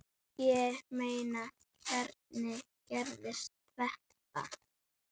Ég meina, hvernig gerðist þetta?